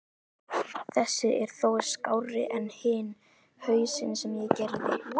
Þessi er þó skárri en hinn hausinn sem ég gerði.